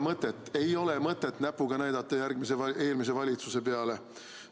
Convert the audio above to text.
No ei ole mõtetnäpuga näidata eelmise valitsuse peale.